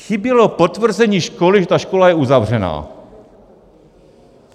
Chybělo potvrzení školy, že ta škola je uzavřená.